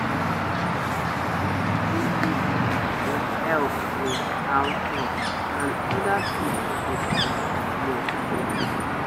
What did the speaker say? area go dey quiet wen family members dey help with house work and oda people dey contribute